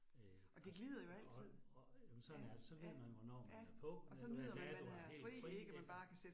Øh og så og og jamen sådan er det, så ved man, hvornår man er på, men men det er du har helt fri ikke